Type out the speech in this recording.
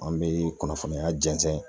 An bɛ kunnafoniya jɛnsɛn.